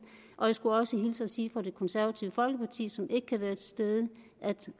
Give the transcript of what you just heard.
og jeg skulle også hilse og sige fra det konservative folkeparti som ikke kan være til stede at